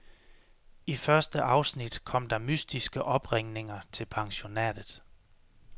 I første afsnit kom der mystiske opringninger til pensionatet.